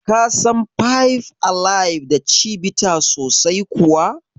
Ka san five alive da Chivita sosai kuwa?